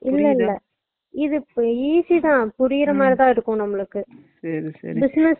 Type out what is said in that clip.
இல்லஇல்ல இது easy தான் புரியுறா மாறிதா இருக்கும் நம்மளுக்கு business